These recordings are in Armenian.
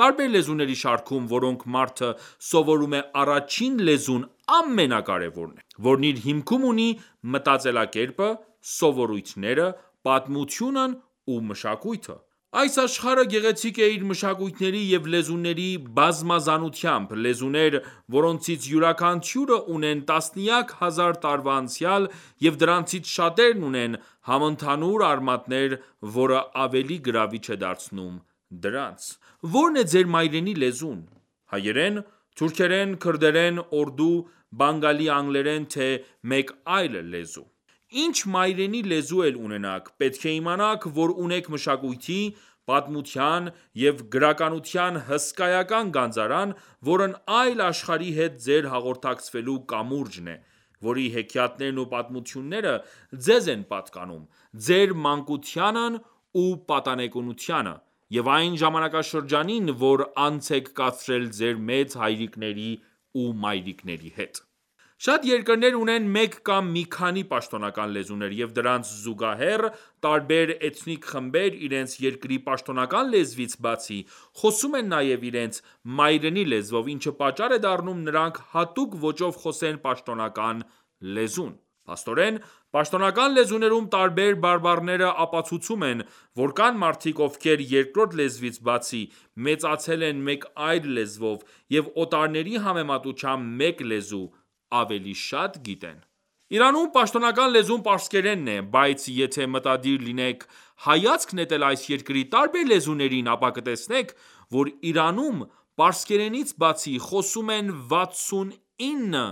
Տարբեր լեզուների շարքում, որոնք մարդը սովորում է՝առաջին լեզուն ամենակարեւորն է, որն իր հիմքում ունի մտածելակերպը, սովորույթները, պատմությունն ու մշակույթը:Այս աշխարհը գեղեցիկ է իր մշակույթների և լեզուների բազմազանությամբ:Լեզուներ, որոնցից յուրաքանչյուրը ունեն տասնյակ հազար տարվա անցյալ, և դրանցից շատերն ունեն համընդհանուր արմատներ, որը ավելի գրավիչ է դարձնում դրանց: Ո՞րն է Ձեր մայրենի լեզուն: Հայերեն, թուրքերեն, քրդերեն, օրդու, բանգալի, անգլերեն ,թե՞ մեկ այլ լեզու:Ինչ մայրենի լեզու էլ ունենաք, պետք է իմանաք, որ ունեք մշակույթի, պատմության և գրականության հսկայական գանձարան, որն այլ աշխարհի հետ Ձեր հաղորդակցվելու կամուրջն է ,որի հեքիաթներն ու պատմությունները Ձեզ են պատկանում ,Ձեր մանկությանն ու պատանեկությանը և այն ժամանակաշրջանին ,որ անց եք կացրել Ձեր մեծ հայրիկների ու մայրիկների հետ: Շատ երկրներ ունեն մեկ կամ մի քանի պաշտոնական լեզուներ, և դրանց զուգահեռ ,տարբեր էթնիկ խմբեր իրենց երկրի պաշտոնական լեզվից բացի, խոսում են նաև իրենց մայրենի լեզվով, ինչը պատճառ է դառնում նրանք հատուկ ոճով խոսեն պաշտոնական լեզուն: Փաստորեն, պաշտոնական լեզուներում տարբեր բարբառները ապացուցում են, որ կան մարդիկ, ովքեր երկրորդ լեզվից բացի մեծացել են մեկ այլ լեզվով և օտարների համեմատությամբ մեկ լեզու ավելի շատ գիտեն: Իրանում ,պաշտոնական լեզուն պարսկերենն է, բայց եթե մտադիր լինենք հայացք նետել այս երկրի տարբեր լեզուներին, ապա կտեսնենք, որ Իրանում, պարսկերենից բացի, խոսում են 69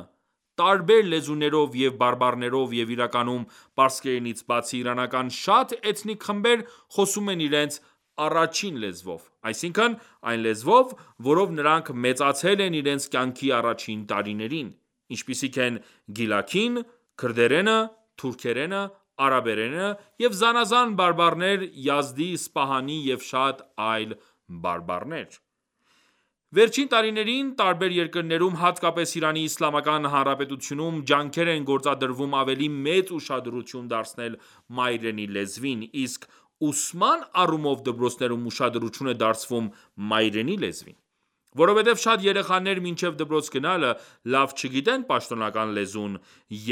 տարբեր լեզուներով և բարբառներով և իրականում, պարսկերենից բացի, իրանական շատ էթնիկ խմբեր խոսում են իրենց առաջին լեզվով, այսինքն՝ այն լեզվով, որով նրանք մեծացել են իրենց կյանքի առաջին տարիներին /ինչպիսիք են ՝գիլաքին, քրդերենը, թուրքերենը, արաբերենը և զանազան բարբառներ՝ Յազդի, Սպահանի և շատ այլ բարբառներ: Վերջին տարիներին տարբեր երկրներում, հատկապես Իրանի Իսլամական Հանրապետությունում, ջանքեր են գործադրվում ավելի մեծ ուշադրություն դարձնել մայրենի լեզվին, իսկ ուսման առումով դպրոցներում ուշադրություն է դարձվում մայրենի լեզվին:Որովհետև շատ երեխաներ մինչև դպրոց գնալը լավ չգիտեն պաշտոնական լեզուն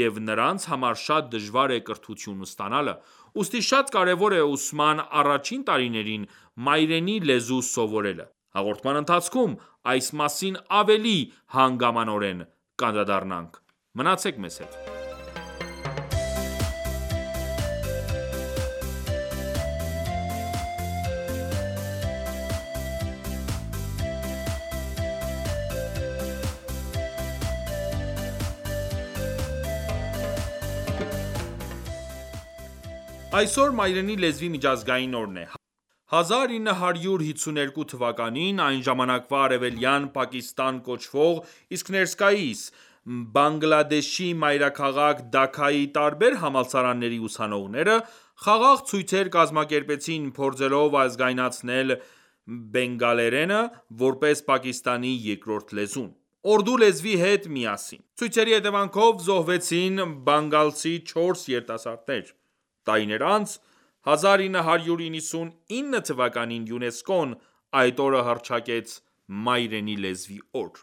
և նրանց համար շատ դժվար է կրթություն ստանալը։ Ուստի շատ կարևոր է ուսման առաջին տարիներին, մայրենի լեզու սովորելը: Հաղորդման ընթացքում այս մասին ավելի հանգամանորեն կանդրադառնանք:Մնացեք մեզ հետ: Այսօր Մայրենի լեզվի միջազգային օրն է: 1952 թվականին ,այն ժամանակվա արևելյան Պակիստան կոչվող, իսկ ներկայիս ՝Բանգլադեշի մայրաքաղաք Դաքքայի տարբեր համալսարանների ուսանողները, խաղաղ ցույցեր կազմակերպեցին՝ փորձելով ազգայնացնել բենգալերենը, որպես Պակիստանի երկրորդ լեզուն, օրդու լեզվի հետ միասին:Ցույցերի հետևանքով զոհվեցին բանգալցի չորս երիտասարդներ:Տարիներ անց՝ 1999 թվականին, ՅՈՒՆԵՍԿՕ-ն այդ օրը հռչակեց Մայրենի լեզվի օր։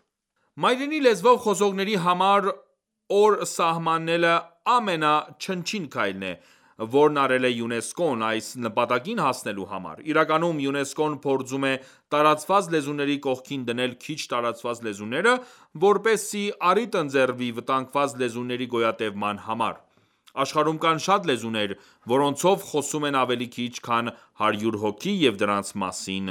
Մայրենի լեզվով խոսողների համար օր սահմանելը ամենաչնչին քայլն է, որն արել է ՅՈՒՆԵՍԿՕ-ն այս նպատակին հասնելու համար:Իրականում ,ՅՈՒՆԵՍԿՕ-ն փորձում է տարածված լեզուների կողքին դնել քիչ տարածված լեզուները, որպեսզի առիթ ընձեռվի վտանգված լեզուների գոյատևման համար: Աշխարհում կան շատ լեզուներ ,որոնցով խոսում են ավելի քիչ քան հարյուր հոգի ,և դրանց մասին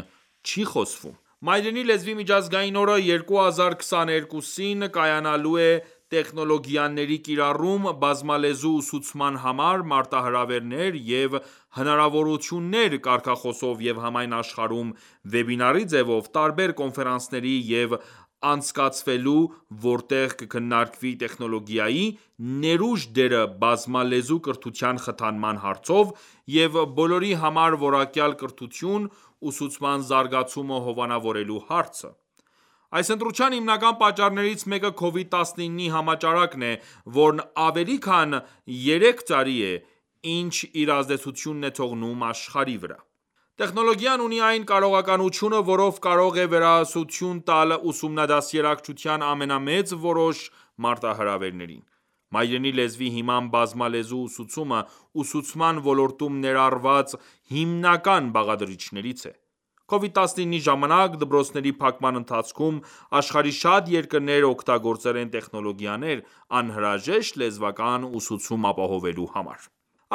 չի խոսվում: Մայրենի լեզվի միջազգային օրը 2022-ին կայանալու է «Տեխնոլոգիաների կիրառում՝ բազմալեզու ուսուցման համար. մարտահրավերներ և հնարավորություններ *» կարգախոսով և համայն աշխարհում վեբինարի ձևով տարբեր կոնֆերանսներ են անցկացվելու, որտեղ կքննարկվի տեխնոլոգիայի ներուժ դերը բազմալեզու կրթության խթանման հարցով և բոլորի համար որակյալ կրթության ,ուսուցման զարգացումը հովանավորելու հարցը:Այս ընտրության հիմնական պատճառներից մեկը Covid 19-ի համաճարակն է, որն ավելի քան երեք տարի է ինչ, իր ազդեցությունն է թողնում աշխարհի վրա։ Տեխնոլոգիան ունի այն կարողականությունը ,որով կարող է վերահասություն տալ ուսումնադաստիարակչության ամենամեծ որոշ մարտահրավերներին: Մայրենի լեզվի հիմամբ բազմալեզու ուսուցումը ,ուսուցման ոլորտում ներառնված հիմնական բաղադրիչներից է: COVID-19-ի ժամանակ, դպրոցների փակման ընթացքում, աշխարհի շատ երկրներ օգտագործել են տեխնոլոգիաներ՝ անհրաժեշտ լեզվական ուսուցում ապահովելու համար: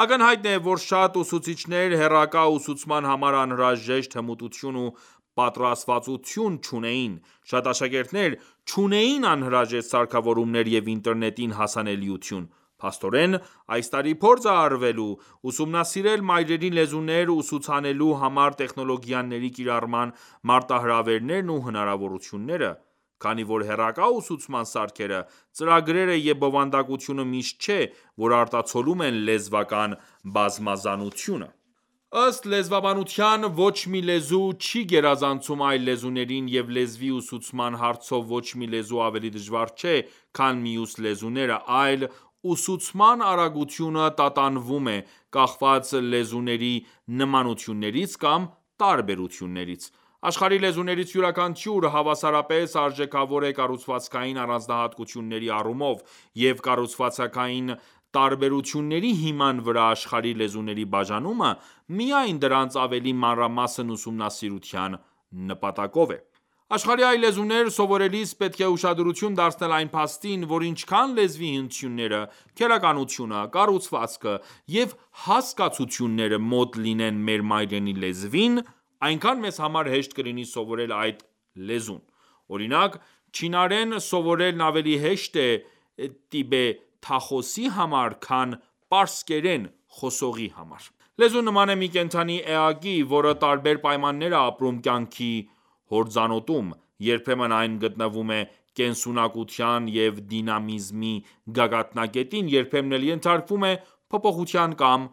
Ակնհայտ է ,որ շատ ուսուցիչներ հեռակա ուսուցման համար անհրաժեշտ հմտություն ու պատրաստվածություն չունեին: Շատ աշակերտներ ,չունեին անհրաժեշտ սարքավորումներ և ինտերնետին հասանելիություն:Փաստորեն, այս տարի փորձ է արվելու ուսումնասիրել մայրենի լեզուներ ուսուցանելու համար տեխնոլոգիաների կիրառման մարտահրավերներն ու հնարավորությունները:Քանի որ հեռակա ուսուցման սարքերը, ծրագրերը և բովանդակությունը միշտ չէ, որ արտացոլում են լեզվական բազմազանությունը: Ըստ լեզվաբանության՝ ոչ մի լեզու չի գերազանցում այլ լեզուներին, և լեզվի ուսուցման հարցով ,ոչ մի լեզու ավելի դժվար չէ, քան մյուս լեզուները ,այլ՝ ուսուցման արագությունը տատանվում է՝ կախված լեզուների նմանություններից կամ տարբերություններից:Աշխարհի լեզուներից յուրաքանչյուրը, հավասարապես արժեքավոր է կառուցվածքային առանձնահատկությունների առումով, և կառուցվածքային տարբերությունների հիման վրա աշխարհի լեզուների բաժանումը միայն դրանց ավելի մանրամասն ուսումնասիրության նպատակով է: Աշխարհի այլ լեզուներ սովորելիս պետք է ուշադրություն դարձնել այն փաստին, որ ինչքան լեզվի հնչյունները, քերականությունը, կառուցվածքը և հասկացությունները մոտ լինեն մեր մայրենի լեզվին, այնքան մեզ համար հեշտ կլինի սովորել այդ լեզուն։ Օրինակ, չինարեն սովորելն ավելի հեշտ է տիբեթախոսի համար, քան պարսկերեն խոսողի համար: Լեզուն նման է մի կենդանի էակի, որը տարբեր պայմաններ է ապրում կյանքի հորձանուտում, երբեմն այն գտնվում է կենսունակության և դինամիզմի գագաթնակետին, երբեմն էլ ենթարկվում է փոփոխության կամ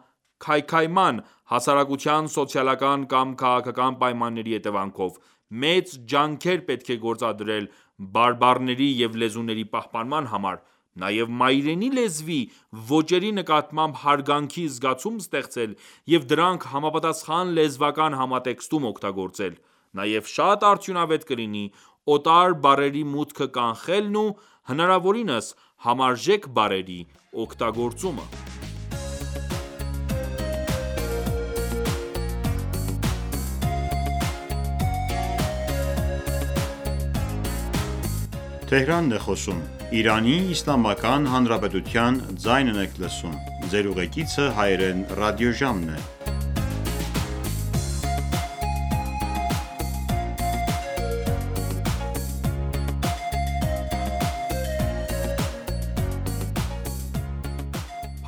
քայքայման՝ հասարակության սոցիալական կամ քաղաքական պայմանների հետևանքով։ Մեծ ջանքեր պետք է գործադրել բարբառների և լեզուների պահպանման համար, նաև մայրենի լեզվի ոճերի նկատմամբ հարգանքի զգացում ստեղծել և դրանք համապատասխան լեզվական համատեքստում օգտագործել, նաև շատ արդյունավետ կլինի օտար բառերի մուտքը կանխելն ու հնարավորինս համարժեք բառերի օգտագործումը: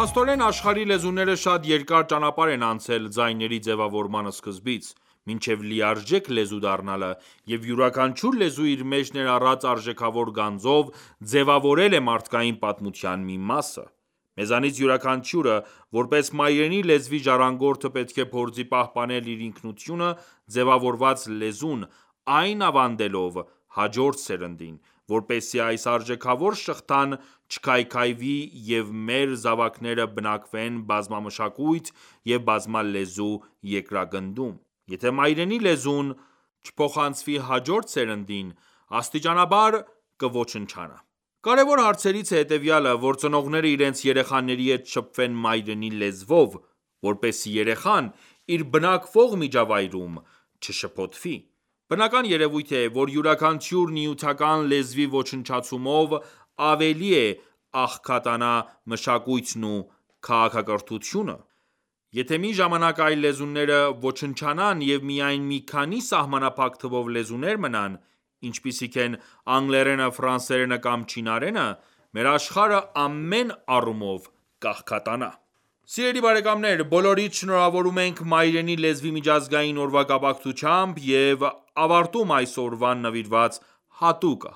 Փաստորեն, աշխարհի լեզուները շատ երկար ճանապարհ են անցել ձայների ձեւավորման սկզբից ,մինչեւ լիարժեք լեզու դառնալը և յուրաքանչյուր լեզու իր մեջ ներառած արժեքավոր գանձով ,ձևավորել է մարդկային պատմության մի մասը: Մեզանից յուրաքանչյուրը ,որպես մայրենի լեզվի ժառանգորդը, պետք է փորձի պահպանել իր ինքնությունը ձևավորած լեզուն ,այն ավանդելով հաջորդ սերնդին ,որպեսզի այս արժեքավոր շղթան չքայքավի և մեր զավակները բնակվեն բազմամշակույթ ու բազմալեզու երկրագնդում:Եթե մայրենի լեզուն չփոխանցվի հաջորդ սերնդին ,աստիճանաբար կոչնչանա: Կարևոր հարցերից է հետևյալը ,որ ծնողները իրենց երեխաների հետ շփվեն մայրենի լեզվով ,որպեսզի երեխան իր բնակվող միջավայրում չշփոթվի: Բնական երևույթ է ,որ յուրաքանչյուր նյութական լեզվի ոչնչացումով ,ավելի կաղքատանա մշակույթն ու քաղաքակրթությունը: Եթե մի ժամանակ ​​այլ լեզուները ոչնչանան և միայն մի քանի սահմանափակ թվով լեզուներ մնան, ինչպիսիք են՝ անգլերենը, ֆրանսերենը կամ չինարենը, մեր աշխարհը ամեն առումով կաղքատանա: Սիրելի բարեկամներ, բոլորիդ շնորհավորում ենք Մայրենի լեզվի միջազգային օրվա կապակցությամբ և ավարտում այս օրվան նվիրված հատուկ